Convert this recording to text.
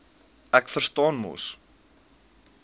ek verstaan mos